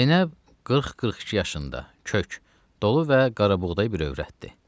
Zeynəb 40-42 yaşında, kök, dolu və qarabuğdayı bir övrətdir.